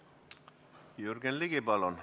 Jürgen Ligi, palun!